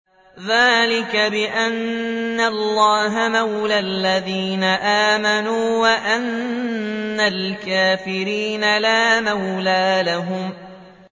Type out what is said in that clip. ذَٰلِكَ بِأَنَّ اللَّهَ مَوْلَى الَّذِينَ آمَنُوا وَأَنَّ الْكَافِرِينَ لَا مَوْلَىٰ لَهُمْ